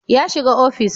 Ya shiga ofis